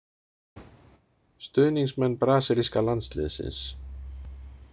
Stuðningsmenn brasilíska landsliðsins.